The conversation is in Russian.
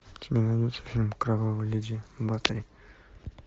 у тебя найдется фильм кровавая леди батори